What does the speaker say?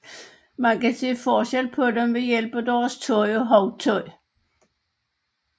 Man kan se forskel på dem ved hjælp af deres tøj og hovedtøj